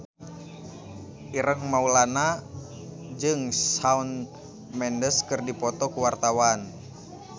Ireng Maulana jeung Shawn Mendes keur dipoto ku wartawan